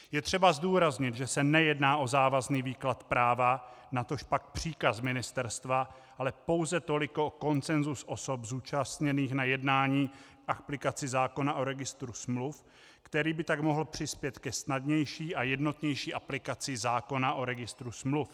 Je třeba zdůraznit, že se nejedná o závazný výklad práva, natožpak příkaz ministerstva, ale pouze toliko o konsenzus osob zúčastněných na jednání k aplikaci zákona o registru smluv, který by tak mohl přispět ke snadnější a jednotnější aplikaci zákona o registru smluv.